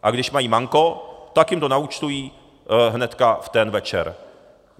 A když mají manko, tak jim to naúčtují hned v ten večer.